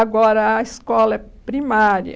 Agora, a escola primária...